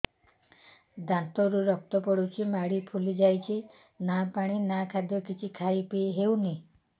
ଦାନ୍ତ ରୁ ରକ୍ତ ଗଳୁଛି ମାଢି ଫୁଲି ଯାଉଛି ନା ପାଣି ନା ଖାଦ୍ୟ କିଛି ଖାଇ ପିଇ ହେଉନି